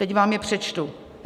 Teď vám je přečtu.